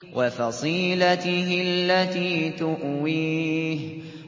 وَفَصِيلَتِهِ الَّتِي تُؤْوِيهِ